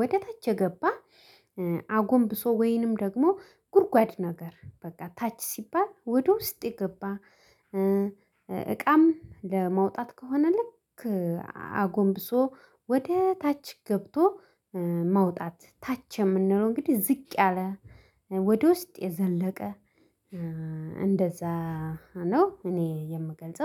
ወደ ታች የገባ አጎንብሶ ወይንም ደግሞ ጉድጓድ ነገር በቃ ታች ሲባል ወደ ውስጥ የገባ እቃም ለማውጣት ከሆነ ልክ አጎንብሶ ወደ ታች ገብቶ ማውጣት ታች የምንለው እንግዲህ ዝቅ ያለ ወደ ውስጥ የዘለቀ እንደዛ ነው እኔ የምገልጸው